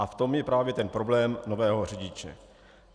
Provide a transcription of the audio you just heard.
A v tom je právě ten problém nového řidiče.